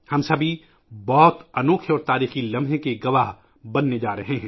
ہم سبھی بہت ہی شاندار اور تاریخی لمحے کے گواہ بنیں گے